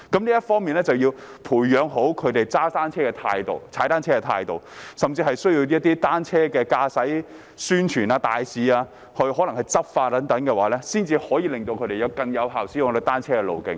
在這方面，政府要培養市民踏單車的正確態度，甚至需要透過單車宣傳大使或執法等，才能令他們更有效地使用單車徑。